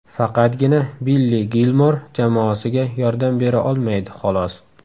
Faqatgina Billi Gilmor jamoasiga yordam bera olmaydi, xolos.